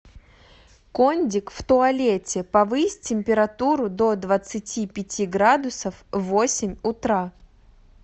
кондик в туалете повысь температуру до двадцати пяти градусов в восемь утра